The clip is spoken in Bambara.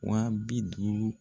Wa bi duuru